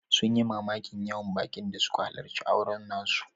Sun yi mamakin yawan bakin da suka halarci auren nasu.